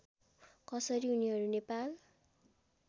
कसरी उनीहरू नेपाल